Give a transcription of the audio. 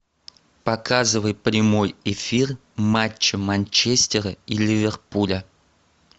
показывай прямой эфир матча манчестера и ливерпуля